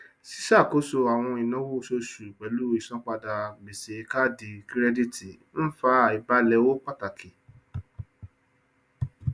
ṣíṣàkóso àwọn ináwó oṣooṣu pẹlú ìsanpadà gbèsè káàdì kírẹdítì ń fa àìbálẹ owó pàtàkì